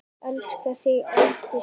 Elska þig ætíð.